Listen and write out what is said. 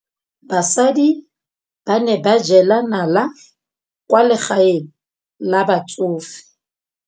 Basadi ba ne ba jela nala kwaa legaeng la batsofe.